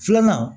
Filanan